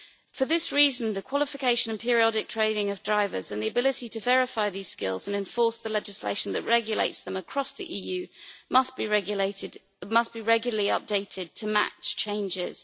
For this reason, the qualification and periodic training of drivers and the ability to verify these skills and enforce the legislation that regulates them across the EU must be regularly updated to match changes.